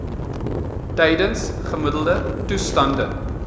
tydens gemiddelde toestande